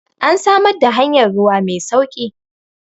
an samar da hanyar ruwa Mai sauki!